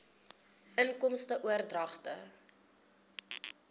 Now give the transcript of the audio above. inkomste oordragte